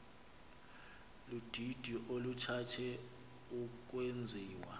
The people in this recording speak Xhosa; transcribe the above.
ludidi oluthande ukwenziwa